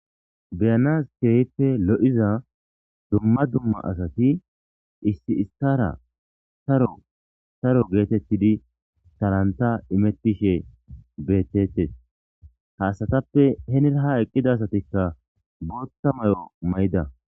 Beyanas keehippe lo7iza dumma dumma asati issi issara saro saro geetettidi talanta imettishe beetettes ha asatappe henira ha eqqida asatikka bootta may'o may'ida.